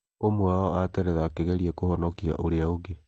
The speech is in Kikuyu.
Ũmwe wao ateretha akĩgeria kũhonokia ũrĩa ũngĩ.